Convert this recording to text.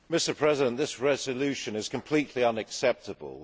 Mr President, this resolution is completely unacceptable.